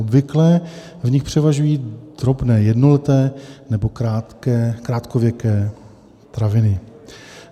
Obvykle v nich převažují drobné jednoleté nebo krátkověké traviny.